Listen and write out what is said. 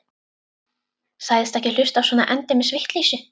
Sagðist ekki hlusta á svona endemis vitleysu.